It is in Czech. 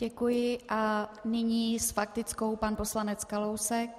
Děkuji a nyní s faktickou pan poslanec Kalousek.